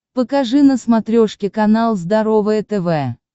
покажи на смотрешке канал здоровое тв